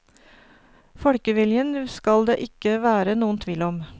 Folkeviljen skal det ikke være noen tvil om.